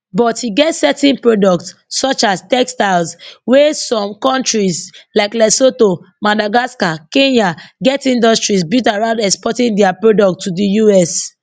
but e get certain products such as textiles wia some kontris like lesotho madagascar kenya get industries built around exporting dia products to di us